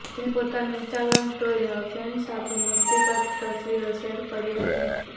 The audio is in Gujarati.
તેણે પોતાની ઈન્સ્ટાગ્રામ સ્ટોરીમાં ફ્રેન્ડ્સ સાથે મસ્તી કરતી તસવીરો શેર કરી હતી